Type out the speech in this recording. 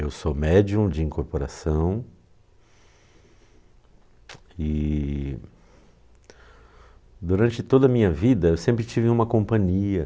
Eu sou médium de incorporação e durante toda a minha vida eu sempre tive uma companhia.